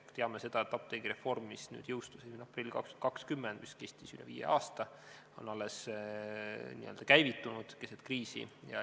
Me teame seda, et apteegireform, mis jõustus 1. aprillil 2020 ja on kestnud üle viie aasta, alles n-ö käivitus keset kriisi.